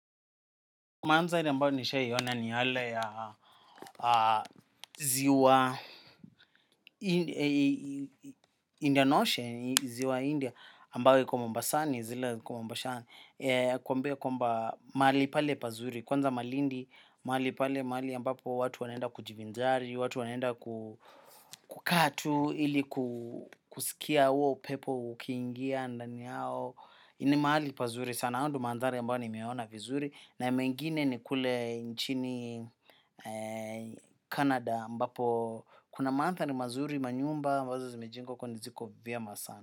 Mandhari ambayo nishaiona ni yale ya ziwa Indian Ocean, ziwa India, ambayo iko mombasani, zile iko mombasani. Kuambia kwamba mahali pale pazuri, kwanza malindi, mahali pale, mahali ambapo watu wanenda kujivinjari, watu wanaenda kukaa tu, ili kusikia huo upepo ukiingia, ndani yao. Ni mahali pazuri sana hayo ndo mandhari ambayo nimeona vizuri. Na ya mengine ni kule nchini canada ambapo kuna manthari mazuri, manyumba ambazo zimejengwa huko ziko vyema sana.